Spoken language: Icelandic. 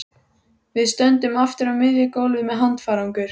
Við stöndum aftur á miðju gólfi með handfarangur.